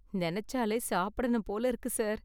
நெனச்சாலே சாப்பிடணும் போல இருக்கு, சார்.